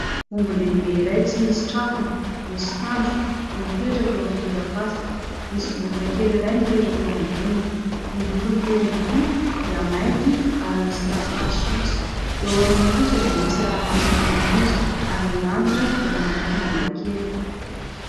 Omby lehibe iray tsy misy trafony, misy tandroka no mipetraka eo amin'ny torapasika. Misy vorona kely iray mipetraka eo amboniny. Ny lokon'itỳ omby itỳ dia mainty ary misy tasitasy fotsy. Eo aoriana kosa dia misy ranomasina manonja ary ny lanitra dia manompo manga kely.